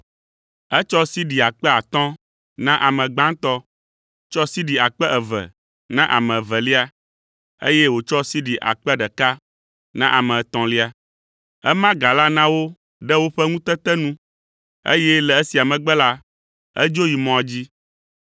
“Etsɔ sidi akpe atɔ̃ na ame gbãtɔ, tsɔ sidi akpe eve na ame evelia, eye wòtsɔ sidi akpe ɖeka na ame etɔ̃lia. Ema ga la na wo ɖe woƒe ŋutete nu, eye le esia megbe la edzo yi mɔa dzi.